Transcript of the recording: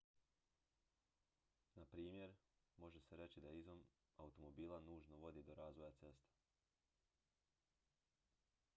na primjer može se reći da izum automobila nužno vodi do razvoja cesta